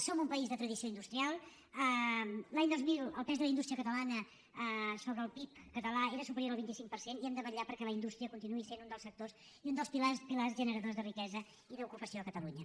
som un país de tradició industrial l’any dos mil el pes de la indústria catalana sobre el pib català era superior al vint cinc per cent i hem de vetllar perquè la indústria continuï sent un dels sectors i un dels pilars generadors de riquesa i d’ocupació a catalunya